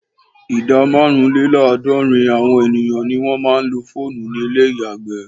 Ìdá márùnlélàádọ́rin àwọn ènìyàn ni wọ́n máa ń lo fóònù ní ilé ìyàgbẹ́.